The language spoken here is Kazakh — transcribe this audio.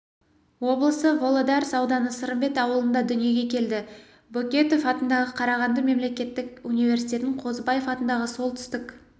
облысы володарс ауданы сырымбет ауылында дүниеге келді бөкетов атындағы қарағанды мемлекеттік университетін қозыбаев атындағы солтүстік